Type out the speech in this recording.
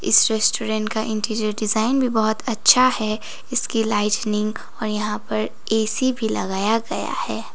इस रेस्टोरेंट का interior design भी बहुत अच्छा है इसकी लाइटनिंग और यहां पर ए_सी भी लगाया गया है।